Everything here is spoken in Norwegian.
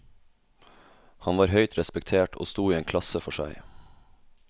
Han var høyt respektert og sto i en klasse for seg.